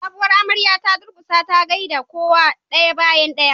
sabuwar amarya ta durkusa ta gaida kowa daya bayan daya